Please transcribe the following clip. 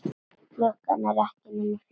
Klukkan er ekki nema fjögur.